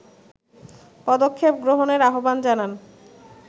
পদক্ষেপগ্রহণের আহবান জানান